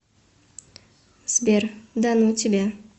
сбер да ну тебя